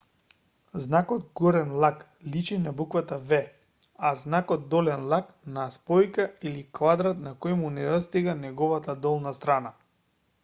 знакот горен лак личи на буквата v а знакот долен лак на спојка или квадрат на кој му недостига неговата долна страна